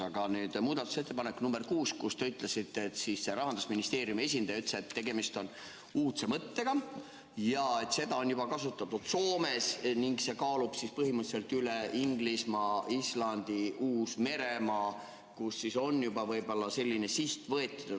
Aga nüüd muudatusettepanekust nr 6, mille kohta te ütlesite, et Rahandusministeeriumi esindaja ütles, et tegemist on uudse mõttega ja et seda on kasutatud juba Soomes ning et see kaalub põhimõtteliselt üles Inglismaa, Islandi ja Uus-Meremaa, kus siis on juba võib-olla selline siht võetud.